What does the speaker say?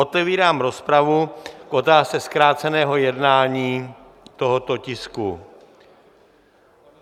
Otevírám rozpravu k otázce zkráceného jednání tohoto tisku.